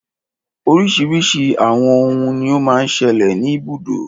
Oríṣiríṣi àwọn òhún ní o má ń ṣẹlẹ̀ ní ibùdó.